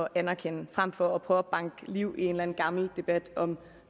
at anerkende frem for at prøve at banke liv i en gammel debat om